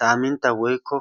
samintta woykko